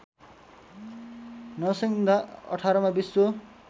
नर्सिन्घा अठारमा विश्व